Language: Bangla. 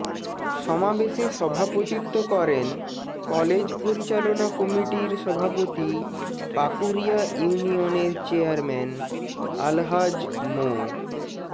সমাবেশে সভাপতিত্ব করেন কলেজ পরিচালনা কমিটির সভাপতি পাকুরিয়া ইউনিয়নের চেয়ারম্যান আলহাজ মো